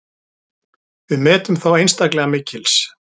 Við metum þá einstaklega mikils.